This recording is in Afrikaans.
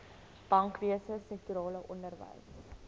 bankwese sektorale onderwys